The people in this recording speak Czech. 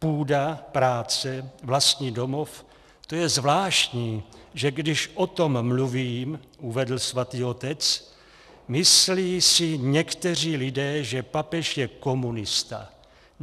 Půda, práce, vlastní domov, to je zvláštní, že když o tom mluvím, uvedl Svatý otec, myslí si někteří lidé, že papež je komunista.